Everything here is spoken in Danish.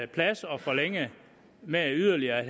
plads at forlænge med yderligere